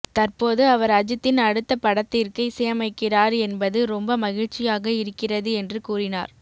தற்போது அவர் அஜித்தின் அடுத்த படத்திற்கு இசையமைக்கிறார் என்பது ரொம்ப மகிழ்ச்சியாக இருக்கிறது என்று கூறினார்